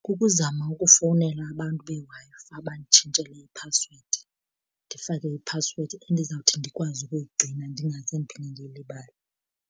Kukuzama ukufowunela abantu beWi-Fi banditshintshele iphasiwedi ndifake iphasiwedi endizawuthi ndikwazi ukuyigcina ndingaze ndiphinde ndiyilibale.